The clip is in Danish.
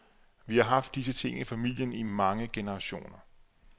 Vi har haft disse ting i familien i mange generationer.